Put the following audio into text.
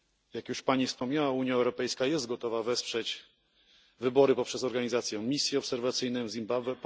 Jak już Pani wspomniała, Unia Europejska jest gotowa wesprzeć wybory poprzez organizację misji obserwacyjnej w Zimbabwe.